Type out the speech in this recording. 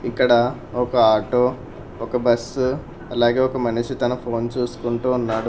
ఇక్కడ ఒక ఆటో ఒక బస్సు అలాగే ఒక మనిషి తన ఫోన్ చూసుకుంటూ ఉన్నాడు.